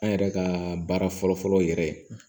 An yɛrɛ ka baara fɔlɔfɔlɔ yɛrɛ ye